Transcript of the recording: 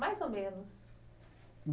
Mais ou menos.